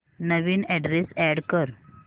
नवीन address add कर